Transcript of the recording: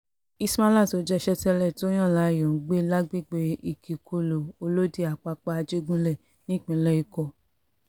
ismaila tó jẹ́ iṣẹ́ tẹ́lẹ̀ ló yàn láàyò ń gbé lágbègbè ìkìkulù olódi àpápá àjẹgúnlẹ̀ nípínlẹ̀ èkó